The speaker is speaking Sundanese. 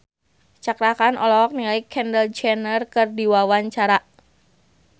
Cakra Khan olohok ningali Kendall Jenner keur diwawancara